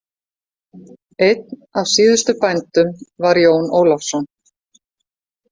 Einn af síðustu bændum var Jón Ólafsson.